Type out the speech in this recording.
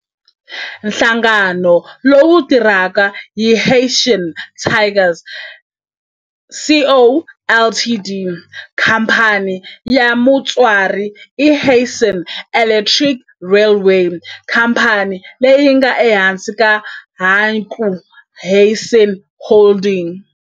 Nhlangano lowu tirhaka i Hanshin Tigers Co., Ltd. Khamphani ya mutswari i Hanshin Electric Railway, khamphani leyi nga ehansi ka Hankyu Hanshin Holdings.